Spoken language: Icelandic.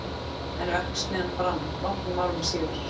en verksmiðjan brann nokkrum árum síðar